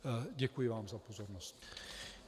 Děkuji vám za pozornost.